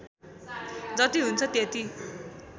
जति हुन्छ त्यति